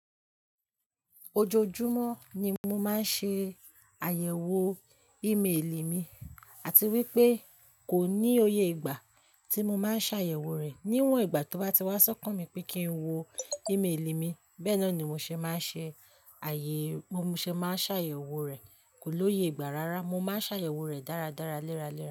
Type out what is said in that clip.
Ojoojúmọ́ ni mo máa ń ṣe àyẹ̀wò ímeelì mi àti wípé kò ní òye ìgbà tí mo máa ń ṣàyẹ̀wò rẹ̀. Níwọ̀n ìgbà tó bá ti wá sọ́kàn mi pé kí ń wo ímelì mi, bẹ́ẹ̀ni ni mo ṣe máa ṣàyẹ̀wò rẹ̀. Kò lóye ìgbà rárá, mo máa ṣàyẹ̀wò rẹ̀ dáradára léraléra.